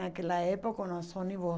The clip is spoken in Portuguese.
Naquela época eram os ônibus